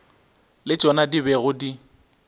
le tšona di bego di